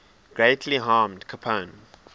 greatly harmed capone